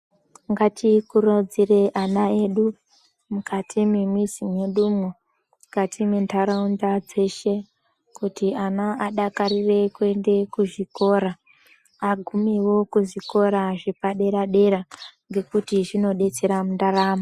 Ngatikurudzire ana edu mukati memizi yedumwo mukati mendaraunda dzeshe kuti ana adakarire kuenda kuzvikora. Agumewo kuzvikora zvepadera dera ngekuti zvinodetsera mundaramo.